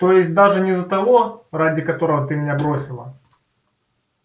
то есть даже не за того ради которого ты меня бросила